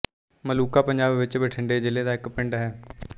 ਮਲੂਕਾ ਪੰਜਾਬ ਵਿੱਚ ਬਠਿੰਡੇ ਜ਼ਿਲ੍ਹੇ ਦਾ ਇੱਕ ਪਿੰਡ ਹੈ